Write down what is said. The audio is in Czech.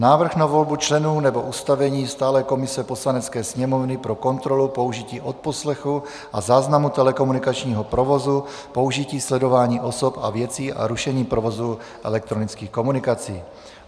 Návrh na volbu členů nebo ustavení stálé komise Poslanecké sněmovny pro kontrolu použití odposlechu a záznamu telekomunikačního provozu, použití sledování osob a věcí a rušení provozu elektronických komunikací